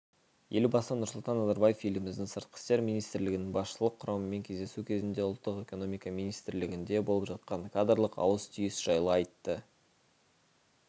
елбасы нұрсұлтан назарбаев еліміздің сыртқы істер министрлігінің басшылық құрамымен кездесу кезінде ұлттық экономика министрлігінде болып жатқан кадрлық ауыс-түйіс жайлы айтты